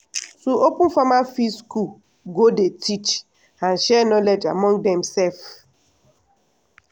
to open farmer field school go dey teach and share knowledge among dem self.